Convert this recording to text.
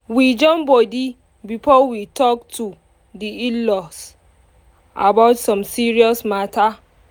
we join body before we talk to di in-laws about some serious matter